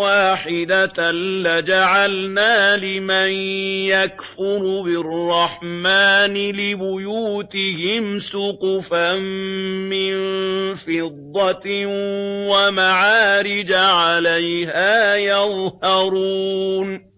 وَاحِدَةً لَّجَعَلْنَا لِمَن يَكْفُرُ بِالرَّحْمَٰنِ لِبُيُوتِهِمْ سُقُفًا مِّن فِضَّةٍ وَمَعَارِجَ عَلَيْهَا يَظْهَرُونَ